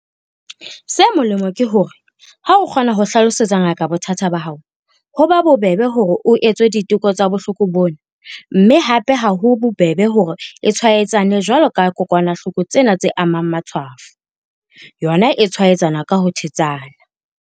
Se molemo ke hore ha o kgona ho hlalosetsa ngaka bothata ba hao, ho ba bobebe hore o etswe diteko tsa bohloko bona mme hape ha ho bobebe hore e tshwaetsane jwalo ka kokwanahloko tsena tse amang matshwafo, yona e tshwaetsana ka ho thetsana.